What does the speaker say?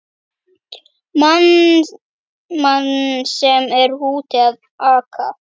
Mann sem er úti að aka!